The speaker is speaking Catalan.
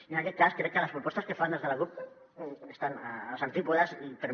i en aquest cas crec que les propostes que fan des de la cup estan als antípodes i per mi